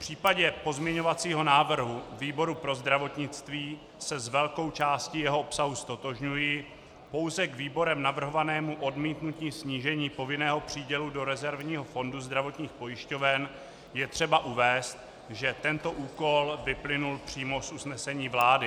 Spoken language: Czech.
V případě pozměňovacího návrhu výboru pro zdravotnictví se s velkou částí jeho obsahu ztotožňuji, pouze k výborem navrhovanému odmítnutí snížení povinného přídělu do rezervního fondu zdravotních pojišťoven je třeba uvést, že tento úkol vyplynul přímo z usnesení vlády.